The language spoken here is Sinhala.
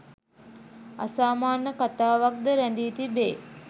අසාමාන්‍ය කතාවක්‌ ද රැඳී තිබේ